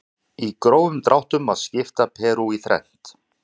Í grófum dráttum má skipta Perú í þrennt.